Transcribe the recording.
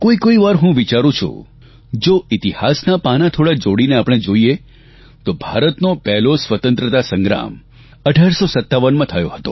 કોઇ કોઇવાર હું વિચારૂં છું જો ઇતિહાસનાં પાનાં થોડાં જોડીને આપણે જોઇએ તો ભારતનો પહેલો સ્વતંત્રતા સંગ્રામ 1857માં થયો હતો